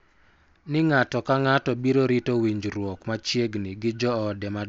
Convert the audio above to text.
Ni ng�ato ka ng�ato biro rito winjruok machiegni gi joode madongo,